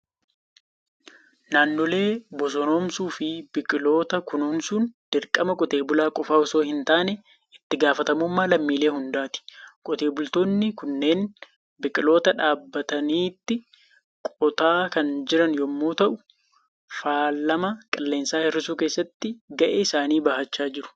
Naannolee bosonoomsuu fi biqiloota kunuunsuun dirqama qotee bulaa qofaa osoo hin taane, itti gaafatamummaa lammiilee hundaati. Qotee bultoonni kunneen biqiloota dhaabatanitti qotaa kan jiran yommuu ta'u, faalama qilleensaa hir'isuu keessatti gahee isaanii bahachaa jiru.